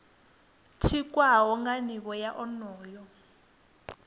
tikwaho nga nivho ya onoyo